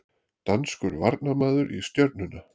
Danskur varnarmaður í Stjörnuna